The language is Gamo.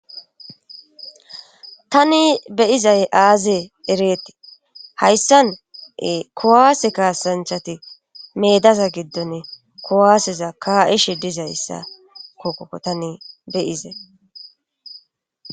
tani beyizay aazee ereetii hayssane kowaase kaasanchati meedaza giddone kowaaseza ka7ishe dizayssa kokkokko tani beyizay